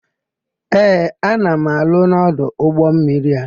Ee, ana m arụ n'ọdụ ụgbọmmiri a.